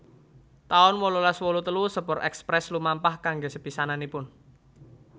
taun wolulas wolu telu Sepur Express lumampah kanggé sepisananipun